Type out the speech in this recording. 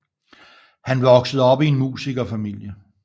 Han voksede op i en musikerfamilie